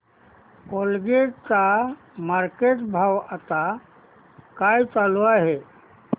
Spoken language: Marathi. कोलगेट चा मार्केट भाव आता काय चालू आहे